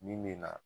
Min bɛ na